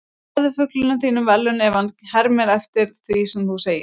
gefðu fuglinum þínum verðlaun ef hann hermir eftir því sem þú segir